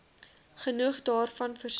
genoeg daarvan voorsien